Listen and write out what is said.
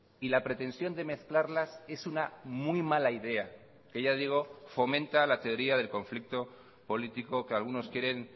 y la pretensión de mezclarlas es una muy mala idea que ya digo fomenta la teoría del conflicto político que algunos quieren